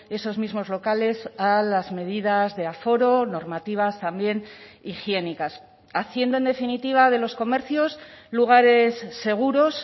esos mismos locales a las medidas de aforo normativas también higiénicas haciendo en definitiva de los comercios lugares seguros